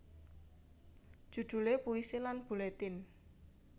Judule Puisi lan Buletin